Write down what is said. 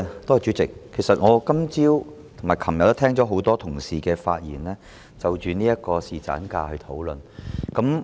代理主席，其實我今早和昨天也聽到很多同事發言，就侍產假進行討論。